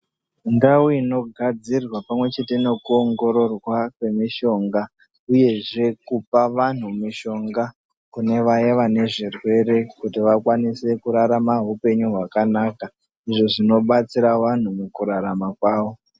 Ndau ino gadzirwa pamwe chete neku wongorora kwemishonga, uyezve kupa vanhu mushonga kune vaya vane zvirwere, kuti vakwanise kurarama upenyu hwakanaka, izvo zvino batsira vanhu mukurarama kwavo.